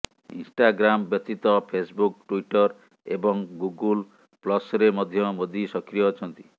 Instagram ବ୍ୟତୀତ Facebook Twitter ଏବଂ Google ପ୍ଲସ୍ରେ ମଧ୍ୟ ମୋଦି ସକ୍ରିୟ ଅଛନ୍ତି